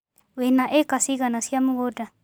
Wĩna ĩka cigana cia mũgũnda.